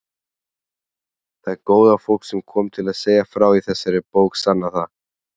Það góða fólk sem kom til að segja frá í þessari bók sannar það.